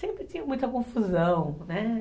Sempre tinha muita confusão, né?